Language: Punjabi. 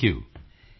thank you